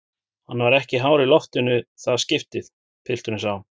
Hann var ekki hár í loftinu í það skiptið, pilturinn sá.